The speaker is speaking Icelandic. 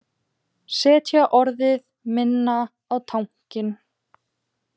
Setja orðið minna á tankinn